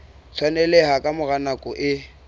tshwaneleha ka mora nako e